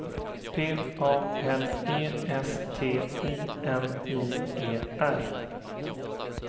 P A L E S T I N I E R